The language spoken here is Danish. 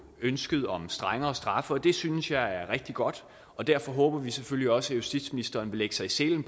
ønsket om strengere straffe og det synes jeg er rigtig godt og derfor håber vi selvfølgelig også at justitsministeren vil lægge sig i selen